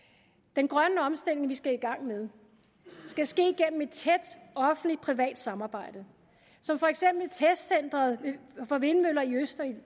den grønne omstilling vi skal i gang med skal ske gennem et tæt offentligt privat samarbejde som for eksempel testcenteret for vindmøller i østerild